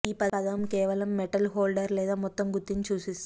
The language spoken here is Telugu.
ఈ పదం కేవలం మెటల్ హోల్డర్ లేదా మొత్తం గుత్తిని సూచిస్తుంది